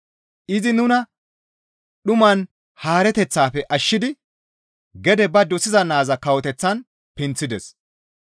Izi nuna dhuman haareteththafe ashshidi gede ba dosiza naaza kawoteththan pinththides.